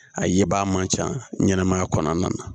A ye baa man ca ɲɛnɛmaya kɔnɔna na